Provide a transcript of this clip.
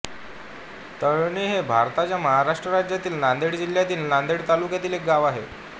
तळणी हे भारताच्या महाराष्ट्र राज्यातील नांदेड जिल्ह्यातील नांदेड तालुक्यातील एक गाव आहे